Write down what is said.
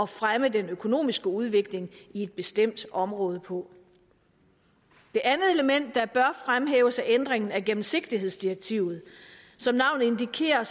fremme den økonomiske udvikling i et bestemt område på det andet element der bør fremhæves er ændringen af gennemsigtighedsdirektivet som navnet indikerer